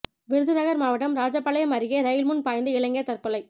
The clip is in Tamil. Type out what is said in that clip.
விருதுநகர் மாவட்டம் ராஜபாளையம் அருகே ரயில் முன் பாய்ந்து இளைஞர் தற்கொலை